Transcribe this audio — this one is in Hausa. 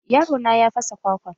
Yaro na ya fasa kwakwan.